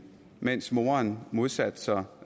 mens moren modsatte sig